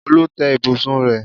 Olú tẹ́ ibùsùn rẹ̀.